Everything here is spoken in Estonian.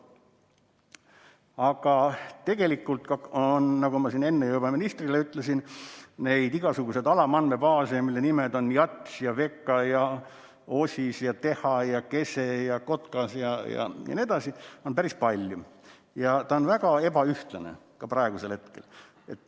Aga tegelikult on, nagu ma siin enne juba ministrile ütlesin, neid igasuguseid alamandmebaase, mille nimed on JATS, VEKA, OSIS, TEHA, KESE, KOTKAS jne, päris palju ja see kõik on väga ebaühtlane ka praegu.